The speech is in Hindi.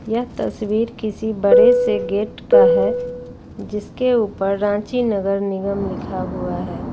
यह तस्वीर किसी बड़े से गेट का है जिसके ऊपर रांची नगर निगम लिखा हुआ है।